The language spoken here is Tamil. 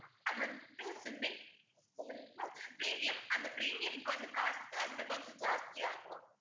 அது வந்துட்டு swimming premium அந்தப் premium க்கு வந்து cost வந்து கொஞ்சம் ஜாஸ்தி ஆகும்